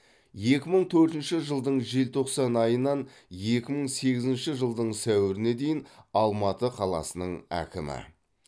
екі мың төртінші жылдың желтоқсан айынан екі мың сегізінші жылдың сәуіріне дейін алматы қаласының әкімі